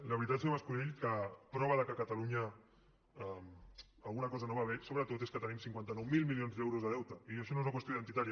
la veritat senyor mas colell que prova que a catalunya alguna cosa no va bé sobretot és que tenim cinquanta nou mil milions de deutes i això no és una qüestió identitària